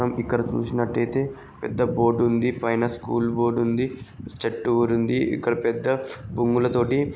మనం ఇక్కడ చూసినట్లయితే పెద్ద బోర్డ్ ఉంది. పైన స్కూల్ బోర్డ్ ఉంది. చెట్టు ఊరి ఉంది. ఇక్కడ పెద్ద బొంగులతోటి--